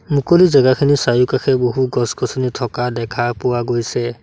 মুকলি জেগাখিনি চাৰিওকাষে বহু গছ-গছনি থকা দেখা পোৱা গৈছে।